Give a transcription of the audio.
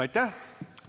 Aitäh!